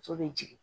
Muso bɛ jigin